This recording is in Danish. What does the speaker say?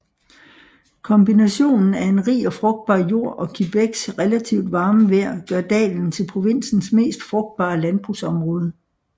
Kombinationen af en rig og frugtbar jord og Québecs relativt varme vejr gør dalen til provinsens mest frugtbare landbrugsområde